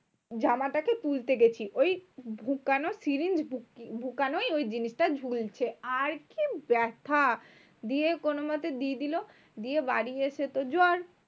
জামাটাকে তুলতে গেছি, ওই ঢুকানো syringe ঢু ঢুকানোই ওই জিনিসটা ঝুলছে। আর কি ব্যাথা? দিয়ে কোনোমতে দিয়ে দিলো দিয়ে বাড়ি এসে তো জ্বর।